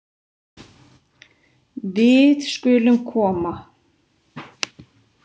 Við skulum koma